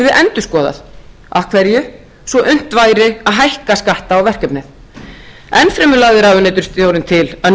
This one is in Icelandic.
endurskoðað af hverju svo unnt væri að hækka skatta á verkefnið enn fremur lagði ráðuneytisstjórinn til að